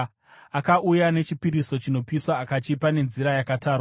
Akauya nechipiriso chinopiswa akachipa nenzira yakatarwa.